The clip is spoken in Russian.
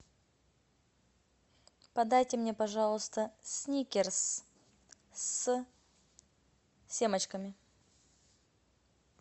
подайте мне пожалуйста сникерс с семечками